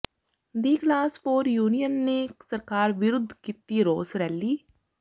ਦਿ class four union ਨੇ ਸਰਕਾਰ ਵਿਰੁੱਧ ਕੀਤੀ ਰੋਸ ਰੈਲੀ